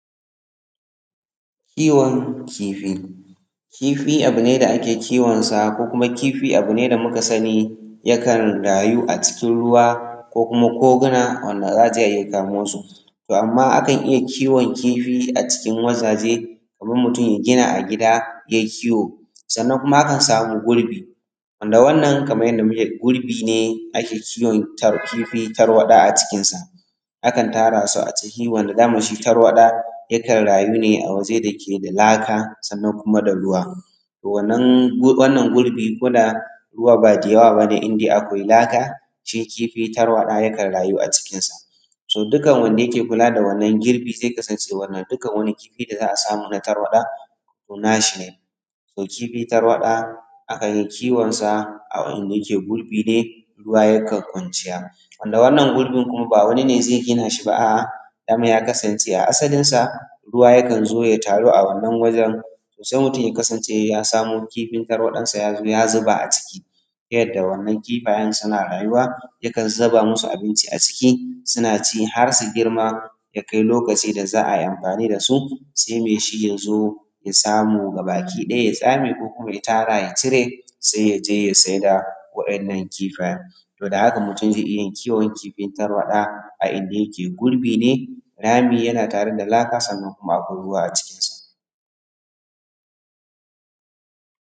kiwon kifi kifi abu ne da ake kiwonsa ko kuma abu ne da aka sani yakan rayu a cikin ruwa ko kuma koguna wanda za a je a iya kamo su to amma akan iya kiwon kifi a cikin wurare kamar mutum ya gina a gida ya yi kiwo sannan kuma akan samu gulbi wanda wannan kamar yadda muke gani gulbi ne ake kiwon kifi tarwaɗa a cikin sa akan tara su a ciki wanda dama shi tarwaɗa yakan rayu ne a wuri da yake da laka sannan kuma da ruwa to wannan gulbi ko da ruwa ba da yawa ba ne in dai akwai laka shi kifi tarwaɗa yakan rayu a cikinsa dukkan wanda yake kula da wannan gulbi zai kasance dukkan wani kifi da za a samu na tarwaɗa to nasa ne to kifi tarwaɗa akan yi kiwonsa a inda yake gulbi ne ruwa yana kwanciya wanda wannan gulbi kuma ba wani zai gina shi ba a’a dama ya kasance a asalinsa ruwa yakan zo ya taru wannan wurin sai mutum ya kasance ya samo kifin tarwaɗansa ya zuba a ciki yadda waɗannan suna rayuwa yakan zuba musu abinci a ciki suna ci har su girma ya kai lokacin da za a yi amfani da su sai mai su ya zo ya samu ya tsame su gaba-ɗaya ko kuma ya tara ya cire ya je ya sayar da waɗannan kifayen to da haka mutum zai iya yin kiwon kifi tarwaɗa a inda yake gulbi ne rami yana tare da laka sannan kuma akwai ruwa a cikinsa